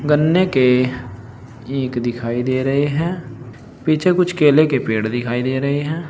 गन्ने के ईख दिखाई दे रहे हैं। पीछे कुछ केले के पेड़ दिखाई दे रहे हैं।